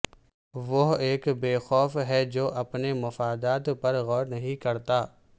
وہ ایک بیوقوف ہے جو اپنے مفادات پر غور نہیں کرتا